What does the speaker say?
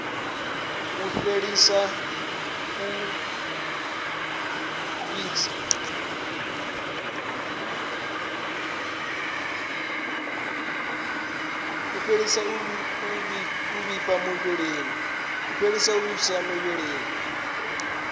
u fhelisa u vhifha muvhilini